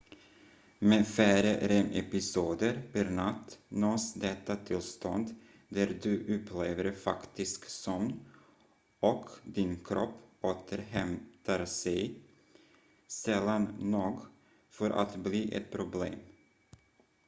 med färre rem-episoder per natt nås detta tillstånd där du upplever faktisk sömn och din kropp återhämtar sig sällan nog för att bli ett problem